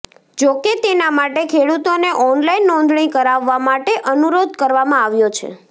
જો કે તેના માટે ખેડૂતોને ઓનલાઈન નોંધણી કરાવવા માટે અનુરોધ કરવામાં આવ્યો છે